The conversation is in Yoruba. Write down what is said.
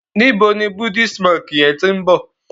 níbo ní Buddhist monk yén tin bo?